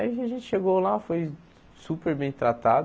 Aí a gen gente chegou lá, foi super bem tratado.